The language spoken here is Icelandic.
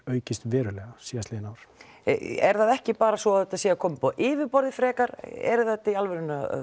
aukist verulega síðastliðin ár er það ekki bara svo að þetta sé að koma upp á yfirborð frekar er þetta í alvörunni að